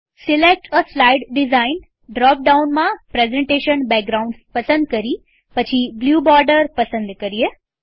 select a slide design drop ડાઉનમાંપ્રેઝન્ટેશન backgrounds પસંદ કરી પછી બ્લ્યુ બોર્ડર પસંદ કરીએ